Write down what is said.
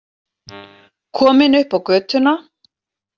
Komin upp á götuna.